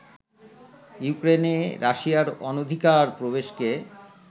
ইউক্রেনে রাশিয়ার অনধিকার প্রবেশকে